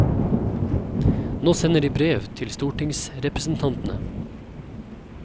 Nå sender de brev til stortingsrepresentantene.